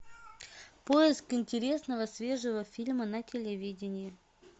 поиск интересного свежего фильма на телевидении